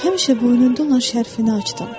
Həmişə boynunda olan şərfini açdım.